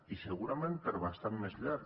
i segurament per bastant més llarg